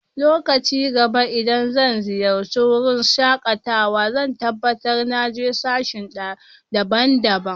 Lokacin gaba idan zan ziyace wurin shakatawa zan tabatar na je sashe daban-daban.